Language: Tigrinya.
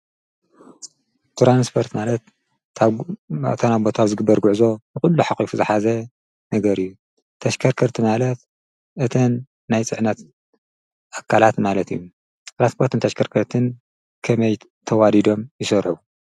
ትራንስፖርት ማለት ካብቦታ ናብቦታ ዝግበር ጕዕዞ ዂሉ ሓቝፉ ዝሓዘ ነገር እዩ ተሽከርከርቲ ማለት እተን ናይ ፅዕነት ኣካላት ማለት እዩ ትራንስፖርት ንተሽከርከርትን ከመይ ተዋዲዶም ይሰረሑ?